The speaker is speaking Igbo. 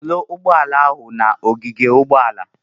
Soro Ugboala ahụ na ogige ugboala!